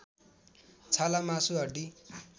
छाला मासु हड्डी